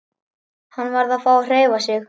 Hann varð að fá að hreyfa sig.